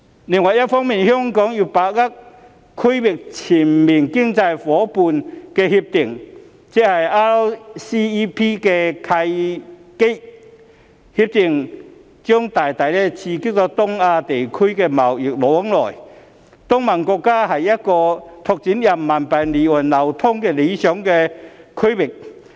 另一方面，香港要把握《區域全面經濟伙伴關係協定》的契機，《協定》將大大刺激東亞地區的貿易往來，東盟國家是一個拓展人民幣離岸流通的理想區域。